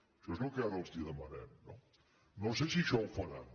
això és el que ara els demanarem no no sé si això ho faran